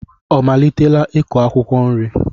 Ọ malitela ịkụ akwụkwọ nri?